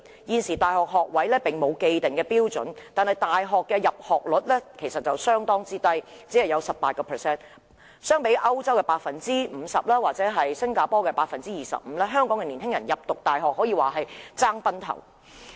現時大學學位並無既定標準，但大學的入學率卻相當低，只有 18%， 相比歐洲的 50% 或新加坡的 25%， 香港青年人要升讀大學可說是競爭非常劇烈。